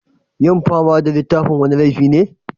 Yin fama da littafin wani laifi ne?